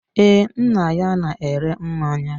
Ee, nna ya na-ere mmanya.